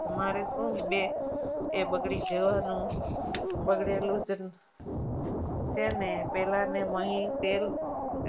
તમારે શું બે એ બગડી જવાનું બગડેલું જ છે ને પહેલા ને મહી તેલ